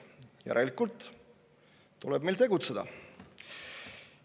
Järelikult tuleb meil tegutseda.